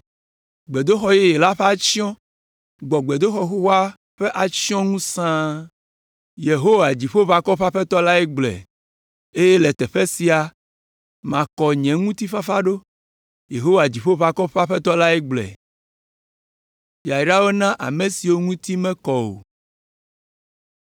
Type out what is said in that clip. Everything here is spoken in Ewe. ‘Gbedoxɔ yeye la ƒe atsyɔ̃ gbɔ gbedoxɔ xoxoa ƒe atsyɔ̃ ŋu sãa.’ Yehowa, Dziƒoʋakɔwo ƒe Aƒetɔ lae gblɔe. ‘Eye le teƒe sia makɔ nye ŋutifafa ɖo.’ Yehowa, Dziƒoʋakɔwo ƒe Aƒetɔ lae gblɔe.”